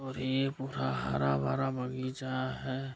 और ये पूरा हरा-भरा बगीचा है।